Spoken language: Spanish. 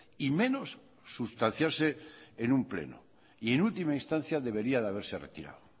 y menos sustanciarse en un pleno y en última instancia debería de haberse retirado